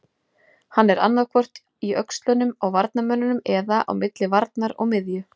Hann er annaðhvort í öxlunum á varnarmönnunum eða á milli varnar og miðju.